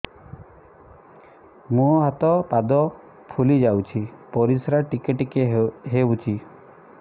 ମୁହଁ ହାତ ପାଦ ଫୁଲି ଯାଉଛି ପରିସ୍ରା ଟିକେ ଟିକେ ହଉଛି